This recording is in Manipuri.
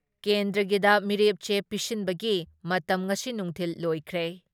ꯀꯦꯟꯗ꯭ꯔꯒꯤꯗ ꯃꯤꯔꯦꯞꯆꯦ ꯄꯤꯁꯤꯟꯕꯒꯤ ꯃꯇꯝ ꯉꯁꯤ ꯅꯨꯡꯊꯤꯜ ꯂꯣꯏꯈ꯭ꯔꯦ ꯫